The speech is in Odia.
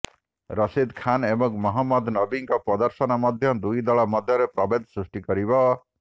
ରଶିଦ୍ ଖାନ୍ ଏବଂ ମହମ୍ମଦ ନବିଙ୍କ ପ୍ରଦର୍ଶନ ମଧ୍ୟ ଦୁଇ ଦଳ ମଧ୍ୟରେ ପ୍ରଭେଦ ସୃଷ୍ଟି କରିବ